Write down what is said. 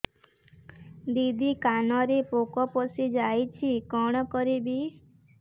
ଦିଦି କାନରେ ପୋକ ପଶିଯାଇଛି କଣ କରିଵି